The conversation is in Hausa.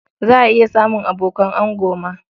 Za a iya samun abokan ango ma.